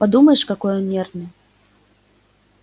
подумаешь какой он нервный